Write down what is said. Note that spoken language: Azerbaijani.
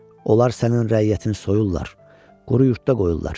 Onlar sənin rəiyyətini soyurlar, quru yurdda qoyurlar.